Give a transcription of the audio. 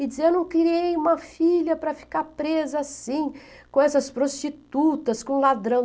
E dizia, eu não criei uma filha para ficar presa assim, com essas prostitutas, com ladrão.